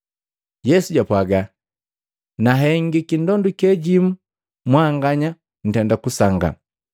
Yesu japwaaga, “Nahengiki ndonduke jimu mwanganya ntenda kusangaa.